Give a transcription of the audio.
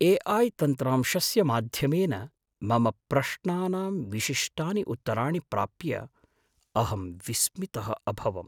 AI तन्त्रांशस्य माध्यमेन मम प्रश्नानां विशिष्टानि उत्तराणि प्राप्य अहं विस्मितः अभवम्।